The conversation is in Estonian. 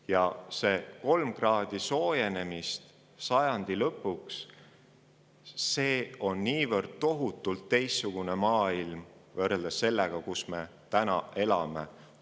Ja see 3 kraadi soojenemist sajandi lõpuks on niivõrd tohutult teistsugune maailm võrreldes sellega, kus me täna elame.